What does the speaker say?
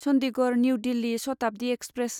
Chandigarh new Delhi Shatabdi express